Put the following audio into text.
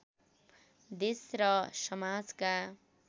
देश र समाजका